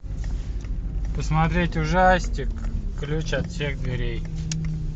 посмотреть ужастик ключ от всех дверей